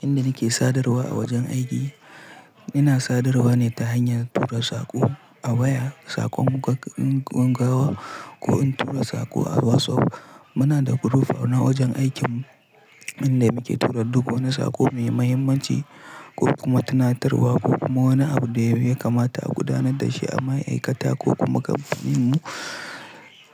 Inda nake sadarwa a wajen aiki, ina sadarwa ne ta hanyar tura saƙo a waya, saƙon gaggawa ko in tura saƙo a WhatsApp. Muna da group na wajen aikinmu inda muke tura duk wani saƙo mai mahimmanci ko kuma tunatarwa ko kuma wani abu da ya kamata a gudanar da shi a ma'aikata ko kuma gaɓenmu.